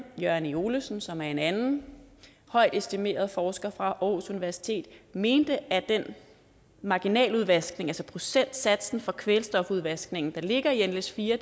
jørgen e olesen som er en anden højt estimeret forsker fra aarhus universitet mente at den marginaludvaskning altså procentsatsen for kvælstofudvaskningen der ligger i nles4